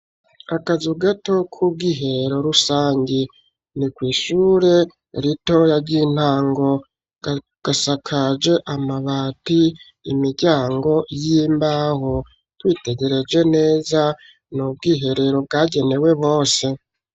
Akazu gato k'ubwihero rusangi .Ni kw'Ishure ritoya ry'intango gasakaje amabati imiryango y'imbaho witegereje neza nubwiherero bwagenewe bose.